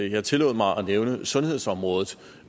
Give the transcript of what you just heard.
jeg tillod mig at nævne sundhedsområdet